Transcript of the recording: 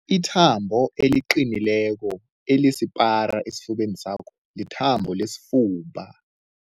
Ithambo eliqinileko elisipara esifubeni sakho lithambo lesifuba.